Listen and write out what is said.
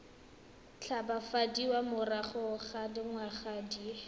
tshabafadiwa morago ga dingwaga di